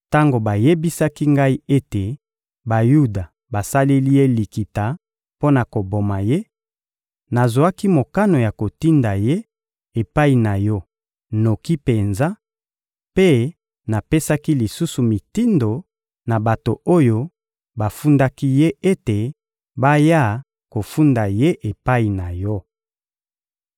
Tango bayebisaki ngai ete Bayuda basaleli ye likita mpo na koboma ye, nazwaki mokano ya kotinda ye epai na yo noki penza; mpe napesaki lisusu mitindo na bato oyo bafundaki ye ete baya kofunda ye epai na yo.